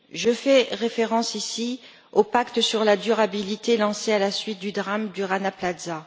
Je fais référence ici au pacte sur la durabilité, lancé à la suite du drame du Rana Plaza.